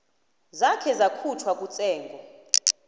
zakhe zakhutjhwa kutsengo